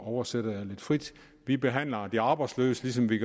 oversætter jeg lidt frit vi behandler de arbejdsløse ligesom vi